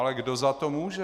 Ale kdo za to může?